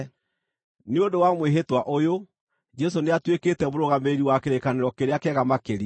Nĩ ũndũ wa mwĩhĩtwa ũyũ, Jesũ nĩatuĩkĩte mũrũgamĩrĩri wa kĩrĩkanĩro kĩrĩa kĩega makĩria.